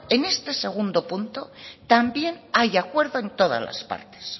en este segundo punto también hay acuerdo en todas las partes